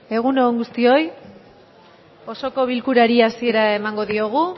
egun on guztioi osoko bilkurari hasiera emango diogu